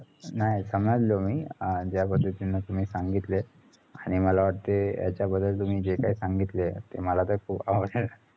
नाही समजलो मी अं ज्या पद्धतीने तुम्ही सांगितलंय आणि मला वाटतंय याच्या बद्दल तुम्ही जेकाही सांगितलं ते मला खूप आवडल